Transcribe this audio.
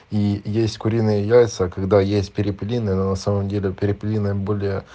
и есть куриные яйца когда есть перепелиные но на самом деле перепелиные более